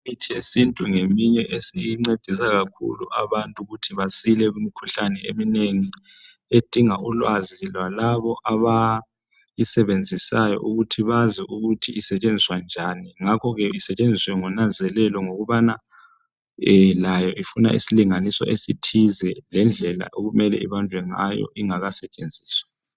Imithi yesintu ngeyinye esincedisa kakhulu ukuthi abantu ukuthi besile kumikhuhlane eminengi edinga ulwazi lalabo abayisebenzisayo ukuthi bazi ukuthi isetshenziswa njani ngakhoke isetshenziswe ngonanzelelo ngokubana layo ifuna isilinganiso esithize lendlela okumele ibanjwe ngayo ingakasetshenziswa.